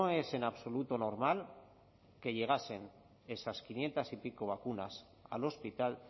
es en absoluto normal que llegasen esas quinientos y pico vacunas al hospital